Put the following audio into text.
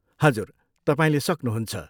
हजुर, तपाईँले सक्नुहुन्छ।